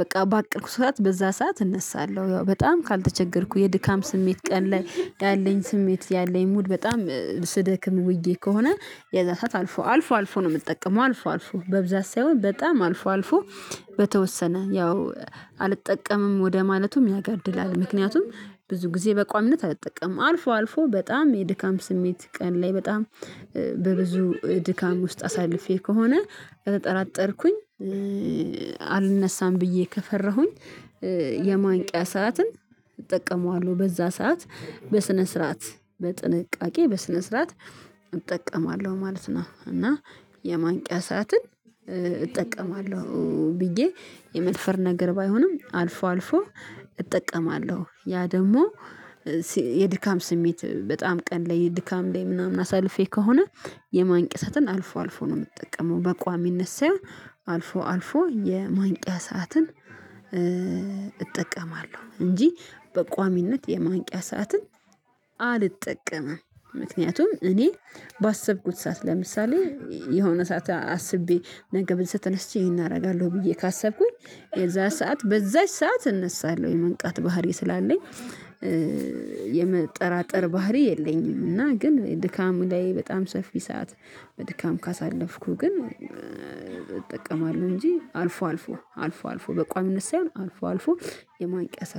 በቃ ባቀርኩት ሰዓት በዛ ሰዓት እነሳለሁ ያው በጣም ካልተቸገርኩ የድካም ስሜት ቀን ላይ ያለኝ ስሜት ያለኝ ሙድ በጣም ስደክም ውዬ ከሆነ የዛ ሰዓት አልፎ አልፎ አልፎ ነው የምትጠቀመው አልፎ አልፎ በብዛት ሳይሆን በጣም አልፎ አልፎ በተወሰነ ያው አልጠቀምም ወደ ማለቱም ያጋድላል ምክንያቱም ብዙ ጊዜ በቋሚነት አልጠቀምም አልፎ አልፎ በጣም የድካም ስሜት ቀን ላይ በጣም በብዙ ድካም ውስጥ አሳልፌ ከሆነ ከተጠራጠርኩኝ አልነሣም ብዬ ከፈራሁኝ የማንቂያ ሰዓትን እጠቀመዋለሁ በዛ ሰዓት በስነ ስርዓት በጥንቃቄ በስነ ስርዓት እጠቀማለሁ ማለት ነው እና የማንቂያ ሰዓትን እጠቀማለሁ ብዬ የመድፈር ነገር ባይሆንም አልፎ አልፎ እጠቀማለሁ ያ ደግሞ የድካም ስሜት በጣም ቀን ላይ የድካም ላይ ምናምን አሳልፌ ከሆነ የማንቂያ ሰዓትን አልፎ አልፎ ነው የምትጠቀመው በቋሚነት ሳይሆን አልፎ አልፎ የማንቂያ ሰዓትን እጠቀማለሁ እንጂ በቋሚነት የማንቂያ ሰዓትን አልጠቀምም ምክንያቱም እኔ ባሰብኩት ሰዓት ለምሳሌ የሆነ ሰዓት አስቤ ነገ ብልስ ተነስቼ ይሄን አደርጋለሁ ብዬ ካሰብኩኝ የዛ ሰዓት በዛች ሰዓት እነሳለሁ የመንቃት ባህሪ ስላለኝ የመጠራጠር ባህሪ የለኝም እና ግን ድካም ላይ በጣም ሰፊ ሰዓት በድካም ካሳለፍኩህ ግን እጠቀማለሁ እንጂ አልፎ አልፎ አልፎ አልፎ በቋሚነት ሳይሆን አልፎ አልፎ የማንቂያ